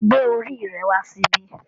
Gbé orí rẹ wá síbí